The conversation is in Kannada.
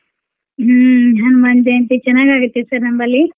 ಹ್ಮ್ ಹ್ಮ್ ಮಂದೆ ಅಂತೇ ಚೆನ್ನಾಗ್ ಆಗುತ್ತೆ sir ನಮ್ಮಲ್ಲಿ.